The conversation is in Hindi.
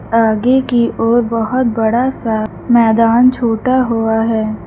आगे की ओर बहुत बड़ा सा मैदान छोटा हुआ है।